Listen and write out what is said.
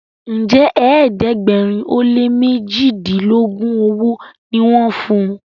Njé ẹ̀ẹ́dẹ̀gbẹ̀rin o lẹ mẹjidilogun ọwó ní wón fún?